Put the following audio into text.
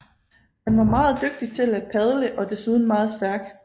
Han var meget dygtig til at padle og desuden meget stærk